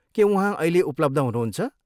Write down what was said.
के उहाँ अहिले उपलब्ध हुनुहुन्छ?